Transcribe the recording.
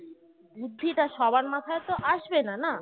বুদ্ধিটা সবার মাথায় তো আসবে না না